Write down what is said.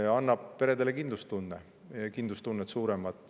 See annab peredele kindlustunde, suurema kindlustunde.